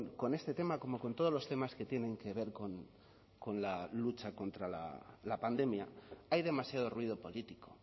con este tema como con todos los temas que tienen que ver con la lucha contra la pandemia hay demasiado ruido político